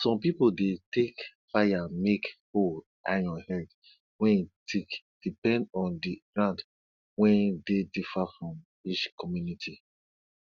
some pipo dey take fire make hoe iron head wey thick depend on di ground wen dey differ for each community